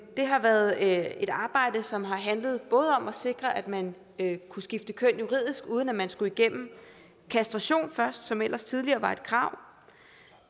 har været et arbejde som har handlet om at sikre at man kunne skifte køn juridisk uden at man skulle igennem kastration først som ellers tidligere var et krav